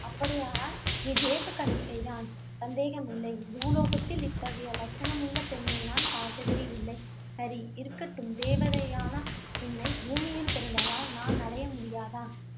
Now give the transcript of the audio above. அப்படியானால் நீ தேவ கன்னிகை தான். சந்தேகமேயில்லை பூலோகத்தில் இத்தகைய லட்சணமுள்ள பெண்ணை நான் பார்த்ததேயில்லை சரிஇருக்கட்டும். தேவதையான உன்னை பூமியில் பிறந்ததால், நான் அடைய முடியாதா